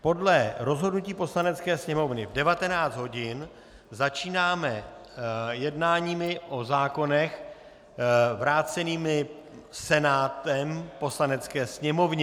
Podle rozhodnutí Poslanecké sněmovny v 19 hodin začínáme jednáními o zákonech vrácených Senátem Poslanecké sněmovně.